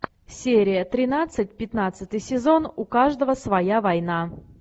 серия тринадцать пятнадцатый сезон у каждого своя война